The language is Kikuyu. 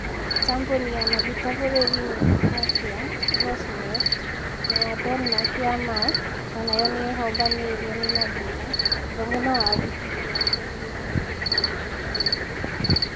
Kambuni ya maguta bũrũri-inĩ wa Russia, Rosneft na ya Denmark ya Maersk, onayo nĩ ĩhobanĩirio nĩ mathĩna hamwe na wafici ciake bũrũr-inĩ wa Ngeretha na Ireland